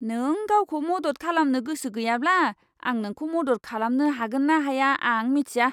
नों गावखौ मदद खालामनो गोसो गैयाब्ला, आं नोंखौ मदद खालामनो हागोन ना हाया आं मिथिया!